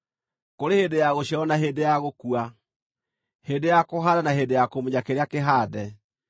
kũrĩ hĩndĩ ya gũciarwo na hĩndĩ ya gũkua, hĩndĩ ya kũhaanda na hĩndĩ ya kũmunya kĩrĩa kĩhaande,